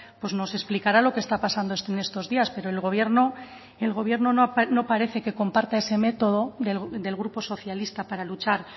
pues nos explicará lo que está pasando en estos días pero el gobierno el gobierno no parece que comparta ese método del grupo socialista para luchar